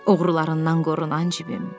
Uğrularından qorunan cibim.